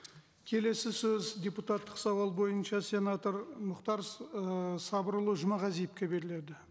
келесі сөз депутаттық сауал бойынша сенатор мұхтар ы сабырұлы жұмағазиевке беріледі